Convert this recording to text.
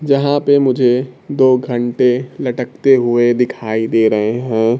जहां पे मुझे दो घंटे लटकते हुए दिखाई दे रहे हैं।